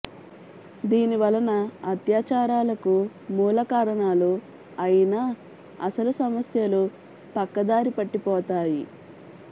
దీనివలన అత్యాచారాలకు మూల కారణాలు అయిన అసలు సమస్యలు పక్కదారి పట్టిపోతాయి